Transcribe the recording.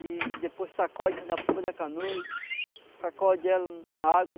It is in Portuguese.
E depois sacode na pulpa da canoa e sacode ela na água.